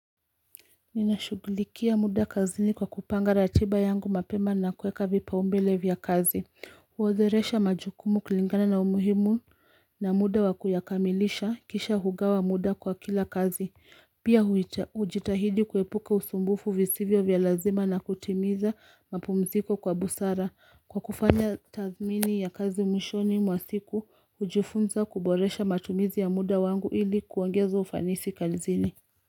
Ninashughulikia muda kazini kwa kupanga ratiba yangu mapema na kuweka vipaumbele vya kazi, huodheresha majukumu kulingana na umuhimu na muda wa kuyakamilisha kisha hugawa muda kwa kila kazi, pia hujitahidi kuepuka usumbufu visivyo vya lazima na kutimiza mapumziko kwa busara, kwa kufanya tathmini ya kazi mwishoni mwa siku, hujifunza kuboresha matumizi ya muda wangu ili kuongeza ufanisi kazini.